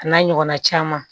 A n'a ɲɔgɔnna caman